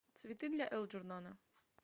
цветы для элджернона